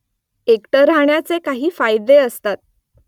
एकटं राहण्याचे काही फायदे असतात